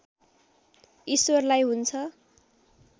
ईश्वरलाई हुन्छ